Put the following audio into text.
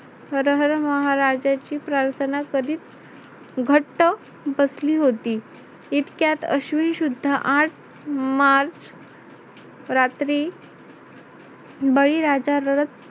हर हर महाराजांची प्रार्थना करीत घट्ट बसली होती. इतक्यात अश्विन शुद्ध आठ मार्च रात्री बळीराजा रडत